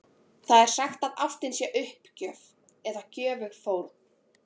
Það er sagt að ástin sé uppgjöf eða göfug fórn.